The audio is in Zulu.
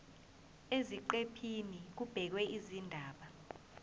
eziqephini kubhekwe izindaba